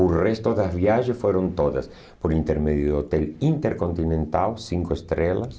O resto das viagens foram todas por intermédio do Hotel Intercontinental Cinco Estrelas.